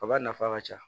Kaba nafa ka ca